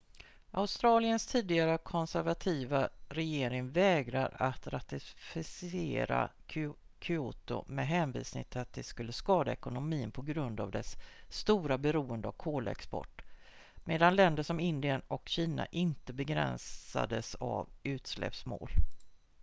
australiens tidigare konservativa regering vägrade att ratificera kyoto med hänvisning till att det skulle skada ekonomin på grund av dess stora beroende av kolexport medan länder som indien och kina inte begränsades av utsläppsmål